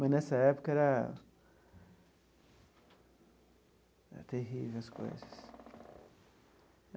Mas, nessa época, era era terrível as coisas.